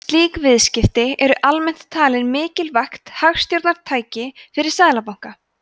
slík viðskipti eru almennt talin mikilvægt hagstjórnartæki fyrir seðlabanka